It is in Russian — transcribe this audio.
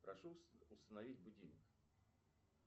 прошу установить будильник